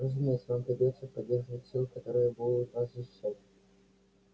разумеется вам придётся поддерживать силы которые будут вас защищать